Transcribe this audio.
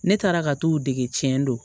Ne taara ka t'u dege cɛn don